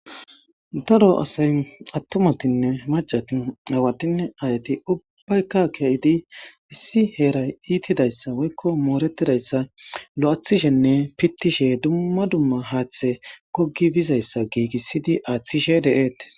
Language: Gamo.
Daro asay attumatinne macati awatinne ayati ubbaykka keeidi issi heeray iitidayssa woykko mooretidayssa lo'athishenne pittishe dumma dumma haaththe gogi bizayssa giigissidi aaththishe deeetes.